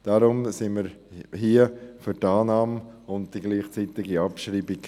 Deshalb sind wir beim Punkt 5 für Annahme und gleichzeitige Abschreibung.